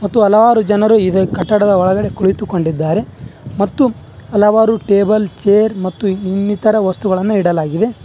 ಮತ್ತು ಹಲವಾರು ಜನರು ಇದೆ ಕಟ್ಟಡದ ಒಳಗಡೆ ಕುಳಿತುಕೊಂಡಿದ್ದಾರೆ ಮತ್ತು ಹಲವಾರು ಟೇಬಲ್ ಚೇರ್ ಮತ್ತು ಇನ್ನಿತರ ವಸ್ತುಗಳನ್ನು ಇಡಲಾಗಿದೆ.